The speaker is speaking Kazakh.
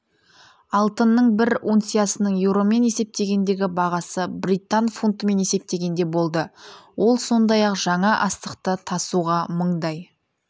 алтынның бір унциясының еуромен есептегендегі бағасы британ фунтымен есептегенде болды ол сондай-ақ жаңа астықты тасуға мыңдай